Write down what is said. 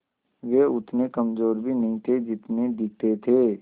वे उतने कमज़ोर भी नहीं थे जितने दिखते थे